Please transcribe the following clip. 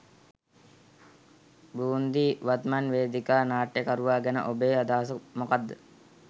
බූන්දි වත්මන් වේදිකා නාට්‍යකරුවා ගැන ඔබේ අදහස මොකක්ද?